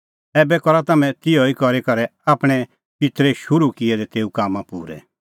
ऐबै करा तम्हैं बी तिहअ ई करी करै आपणैं पित्तरै शुरू किऐ दै तेऊ कामां पूरै